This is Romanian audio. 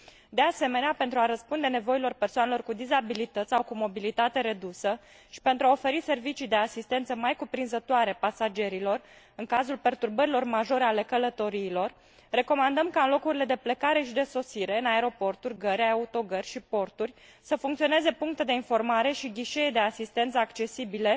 De asemenea, pentru a răspunde nevoilor persoanelor cu dizabilități sau cu mobilitate redusă și pentru a oferi servicii de asistență mai cuprinzătoare pasagerilor în cazul perturbărilor majore ale călătoriilor, recomandăm ca în locurile de plecare și de sosire în aeroporturi, gări, autogări și porturi să funcționeze puncte de informare și ghișee de asistență accesibile